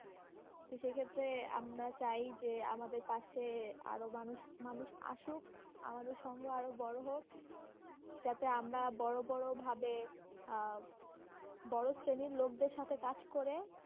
তো সেক্ষেত্রে আমরা চাই, যে আমাদের পাশে আরো মানুষ, মানুষ আসুক, আমাদের সঙ্গ আরো বড়ো হোক যাতে আমরা বড়ো বড়ো ভাবে আহ বড়ো শ্রেণী লোকদের সাথে কাজ করে,